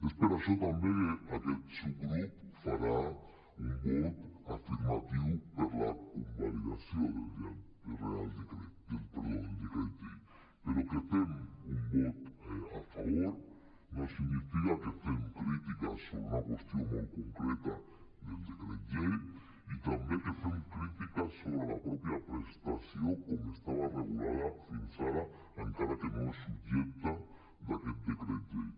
és per això també que aquest subgrup farà un vot afirmatiu per la convalidació del decret llei però que fem un vot a favor no significa que no fem crítica sobre una qüestió molt concreta del decret llei i tampoc que no fem crítiques sobre la mateixa prestació com estava regulada fins ara encara que no és subjecte d’aquest decret llei